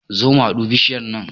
Zo mu hadu bishiyar nan